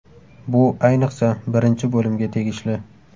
Bu, ayniqsa, birinchi bo‘limga tegishli.